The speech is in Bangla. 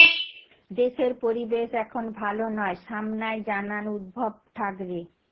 দেশের পরিবেশ এখন ভালো নয় সামনায় জানান উদ্ধভ ঠ্যাকরে